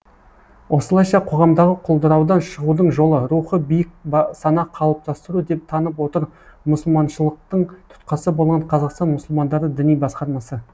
осылайша қоғамдағы құлдыраудан шығудың жолы рухы биік сана қалыптастыру деп танып отыр мұсылманшылықтың тұтқасы болған қазақстан мұсылмандары діни басқармасы